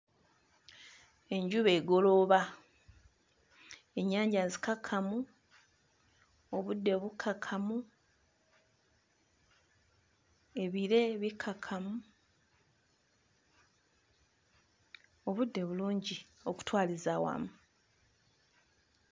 Enjuba egolooba, ennyanja nzikakkamu, obudde bukkakkamu, ebire bikkakkamu, obudde bulungi okutwaliza awamu.